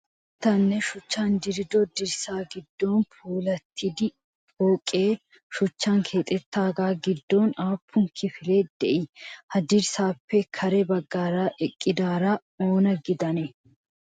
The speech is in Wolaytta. Birataninne shuchchan dirido dirssa giddon puulattida pooqee shuchchan keexettaagaa giddon aappun kifilee de'ii? Ha dirssaappe kare baggaara eqqidaara oona gidanee?